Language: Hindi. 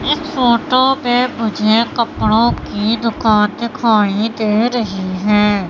इस फोटो में मुझे कपड़ों की दुकान दिखाई दे रही है।